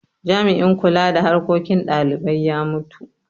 Jami'in kula da harkokin dalibai ya mutu.